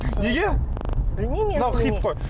неге білмеймін енді мынау хит қой